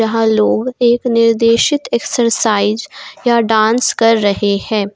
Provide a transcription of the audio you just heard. यह लोग एक निर्देशित एक्सरसाइ या डांस कर रहे है।